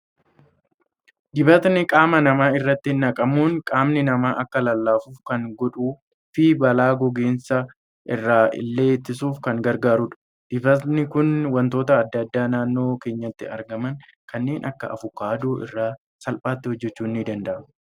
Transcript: Dibatni qaama namaa irratti naqamuun, qaamni namaa akka lallaafu kan godhuu fi balaa gogiinsa irraa illee ittisuuf kan gargaarudha. Dibatni Kun waantota addaa addaa naannoo keenyatti argaman kanneen akka avokaadoo, irraa salphaatti hojjechuun ni danda'ama.